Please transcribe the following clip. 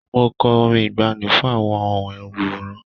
Mo kọ orin ìgbaanì fún àwọn òǹwòran.